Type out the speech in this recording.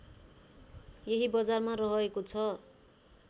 यही बजारमा रहेको छ